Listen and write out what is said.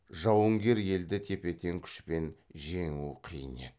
жауынгер елді тепе тең күшпен жеңу қиын еді